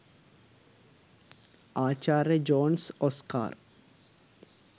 ආචාර්ය Jones Oscar